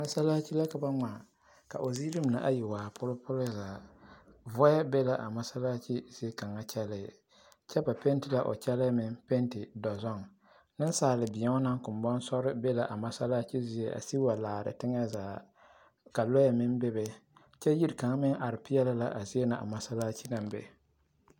Masalaakyi la ka ba ŋmaa ka o ziiri mine ayi waa pulipuli zaa vɔɛ be la a masalaakyi zie kaŋ kyɛlɛɛ kyɛ ba pɛnte la o kyɛlɛɛ meŋ pɛnte dɔzɔɡe nensaalebēo naŋ kombaŋ sɔre be la a masalaakyi zie a siɡi wa laare teŋɛ zaa ka lɔɛ meŋ bebe kyɛ yiri kaŋ meŋ are peɛle la a be na a masalaakyi naŋ be.